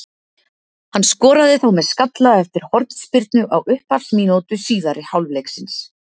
Hann skoraði þá með skalla eftir hornspyrnu á upphafsmínútu síðari hálfleiksins.